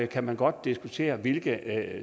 kan man godt diskutere hvilke